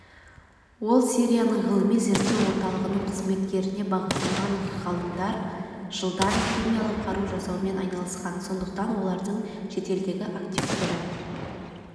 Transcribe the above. ол сирияның ғылыми-зерттеу орталығының қызметкеріне бағытталған ғалымдар жылдан химиялық қару жасаумен айналысқан сондықтан олардың шетелдегі активтері